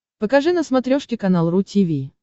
покажи на смотрешке канал ру ти ви